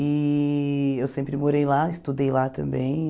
E eu sempre morei lá, estudei lá também.